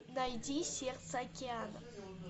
найди сердце океана